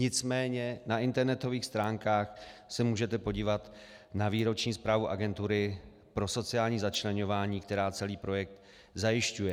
Nicméně na internetových stránkách se můžete podívat na výroční zprávy Agentury pro sociální začleňování, která celý projekt zajišťuje.